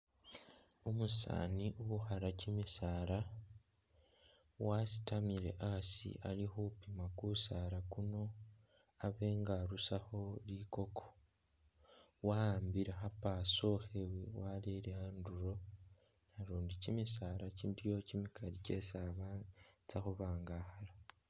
Umusaani ukhala kyimisaala wasitamile asi ali khupima kusaala kuno abe nga arusakho likoko waambile kha powersaw khewe wareye anduro nalundi kyimisala kyiliwo kyimikali kyesi atsakhubanga